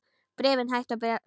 Bréfin hættu að berast.